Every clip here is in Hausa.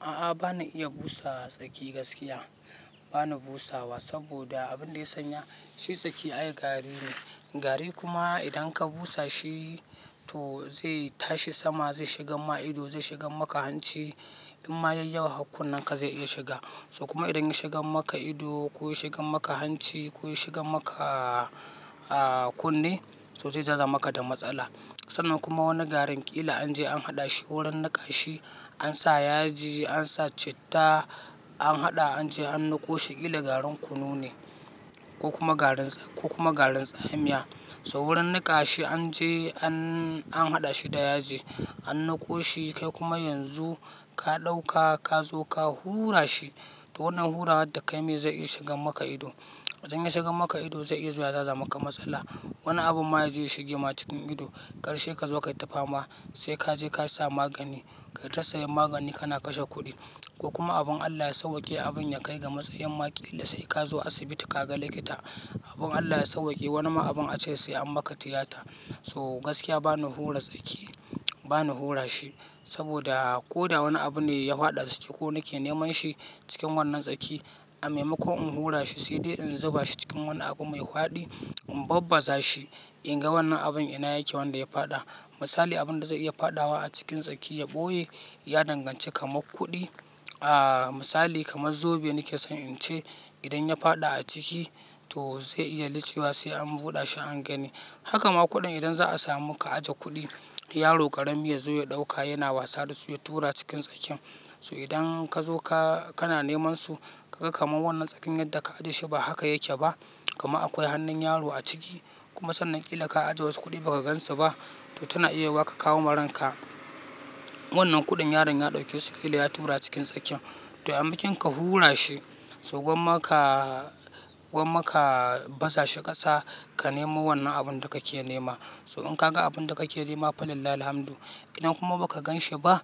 A'a bana iya busa tsaki gaskiya bana busawa saboda abin da ya sanya shi tsaki ai gari ne. Gari kuma idan ka busa shi to zai tashi sama zai shiga ma ido, zai shiga maka hanci in ma yayi yawa hakun naka zai iya shiga. So kuma idan ya shiga maka ido ko ya shiga maka hanci ko ya shiga maka kunne to zai zaza maka da matsala. Sannan kuma wani garin ƙila an je an haɗa shi wurin naƙa shi ansa yaji ansa citta an haɗa an je an niko shi ƙila garin kunu ne ko kuma garin tsamiya. So wurin naƙa shi an je an haɗa shi da yaji an nako shi kai kuma yanzu ka ɗauka ka zo ka hura shi to wannan hura wadda kai maye zai iya shiga maka ido. Idan ya shiga maka ido zai iya zuwa ya zaza maka matsala. Wani abu ma ya zai shige ma cikin ido karshe ka zo kai ta fama sai ka je ka sa magani. Kai ta saya magani kana kashe kuɗi ko kuma abin Allah ya sauƙe abin ya kai ga matsayan maƙila sai ka zo asibiti ka ga likita. Abin Allah ya sauƙe wani ma abin a ce sai an maka tiyata. To gaskiya bana hura tsaki bana hura shi saboda ko da wani abu ne ya faɗa tsaki ko na ke neman shi cikin wannan tsaki a maimakon in hura shi sai dai in zuba shi cikin wani abu mai faɗi in babbaza shi in ga wannan abin ina yake wanda ya faɗa. Misali abin da zai iya faɗawa a cikin tsaki ya ɓoye ya danganci kamar kuɗi a misali kamar zobe nake son in ce idan ya faɗa a ciki to zai iya lichewa sai an buɗe shi an gani. Haka ma kuɗin idan za a samu ka aje kuɗi yaro ƙarami ya zo ya ɗauka yana wasa da su ya tura cikin tsakin. To idan ka zo ka, kana neman su ka ga kamar wannan tsakin yadda ka ajiye shi ba haka yake ba. Kuma akwai hannun yaro a ciki kuma sannan ƙila ka ajiye wasu kuɗi ba ka gan su ba to tana iya wa ka kawo marinka. Wannan kuɗin yaron ya ɗauke su ƙila ya tura cikin tsakin. To a makinka hura shi so gwamma ka, gwamma ka baza shi ƙasa ka nemo wannan abun da ka ke nema. So in ka ga abun da ka ke nema fa lillahi alhamdu idan kuma ba ka ganshi ba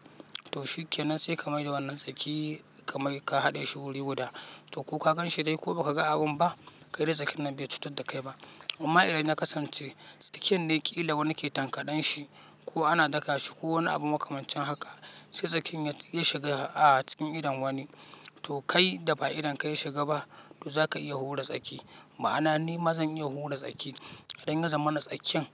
to shikenan sai ka mai da wannan tsaki ka mai ka haɗe shi wuri guda. To ko ka ganshi dai ko ba ka ga abun ba kai dai tsakin nan bai cutar da kai ba. Amma idan ya kasance tsakin dai ƙila wani ke tankaɗan shi ko ana daka shi ko wani abu makamancin haka sai tsakin ya shiga a cikin idon wani to kai da ba idon ka ya shiga ba to za ka iya hura tsaki. Ma'ana ni ma zan iya hura tsaki idan ya zama na tsakin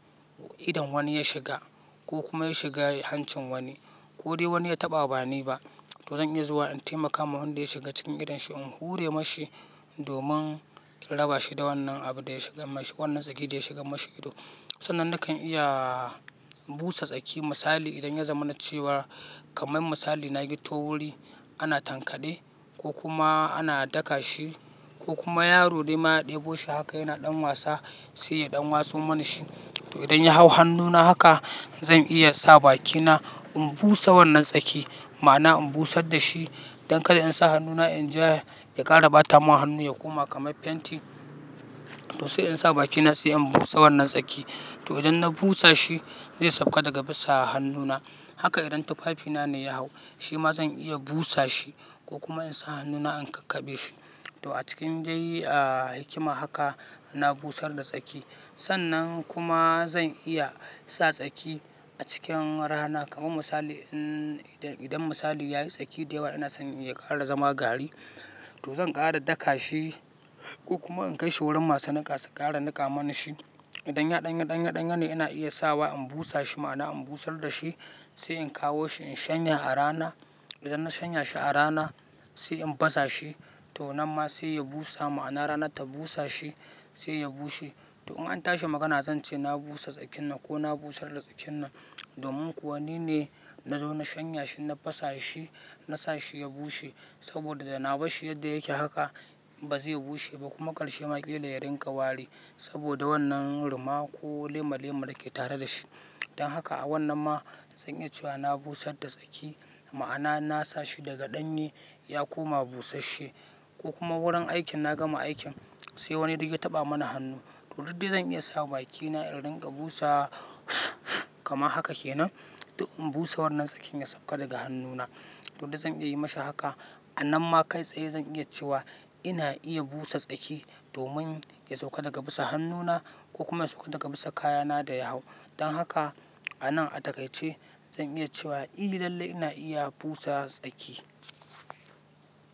idon wani ya shiga ko kuma ya shiga hancin wani ko dai wani ya taɓa ba ni ba to zan iya zuwa in taimaka wa wanda ya shiga cikin idon shi in hure ma shi domin in raba shi da wannan abun da ya shiga ma shi wannan tsaki da ya shiga ma shi ido. Sannan nakan iya busa tsaki misali idan ya zama na cewa kamar misali na yi to wuri ana tankaɗe ko kuma ana daka shi ko kuma yaro dai ma ya ɗebo shi haka yana ɗan wasa sai ya ɗan wasu mana shi. To idan ya hau hannuna haka zan iya sa bakina in busa wannan tsaki ma'ana in busar da shi don kada in sa hannuna in je ya ƙara ɓata ma hannu ya koma kamar fenti to sai in sa bakina sai in busa wannan tsaki. To idan na busa shi zai sauka daga bisa hannuna haka idan tufafina ne ya hau shi ma zan iya busa shi ko kuma in sa hannuna in kakkaɓe shi. To a cikin gyayi, ah hikima haka na busar da tsaki. Sannan kuma zan iya sa tsaki a cikin rana kamar misali in, idan misali ya yi tsaki da yawa ina son ya ƙara zama gari to zan ƙara daka shi ko kuma in kai shi wurin masu niƙa su ƙara niƙa mana shi. Idan ya ɗanye ɗanye ɗanye ne ina iya sa wa in busa shi ma'ana in busar da shi sai in kawo shi in shanya a rana. Idan na shanya shi a rana sai in baza shi to nan ma sai ya busa ma'ana rana ta busa shi sai ya bushe. To in an tashi magana zan ce na busa tsakin nan ko na busar da tsakin nan domin kuwa ni ne na zo na shanya shi na basa shi na sa shi ya bushe saboda da na ba shi yadda yake haka ba zai bushe ba kuma karshe maƙila ya ringa wari saboda wannan ruma ko lema lemar da ke tare da shi. Dan haka a wannan ma zan iya cewa na busar da tsaki ma'ana na sa shi daga ɗanye ya koma busasshe ko kuma wurin aikin na gama aikin sai wani duk ya taɓa mana hannu. To duk dai zan iya sa bakina in ringa busa kama haka kenan in busa wannan tsakin ya sauka daga hannuna. To duk zan iya yi ma shi haka a nan ma kai tsaye zan iya cewa ina iya busa tsaki domin ya sauka daga bisa hannuna ko kuma ya sauka daga bisa kayana da ya hau. Dan haka a nan a dakai ce zan iya cewa i lallai ina iya busa tsaki.